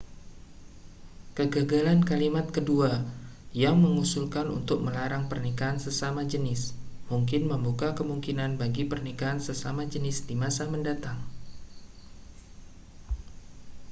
kegagalan kalimat kedua yang mengusulkan untuk melarang pernikahan sesama jenis mungkin membuka kemungkinan bagi pernikahan sesama jenis di masa mendatang